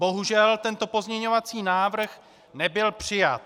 Bohužel tento pozměňovací návrh nebyl přijat.